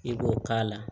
I b'o k'a la